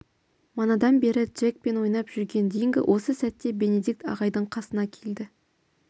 манадан бері джекпен ойнап жүрген динго осы сәтте бенедикт ағайдың қасына келді